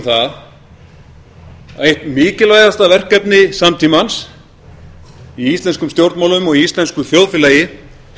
það að eitt mikilvægasta verkefni samtímans í íslenskum stjórnmálum og í íslensku þjóðfélagi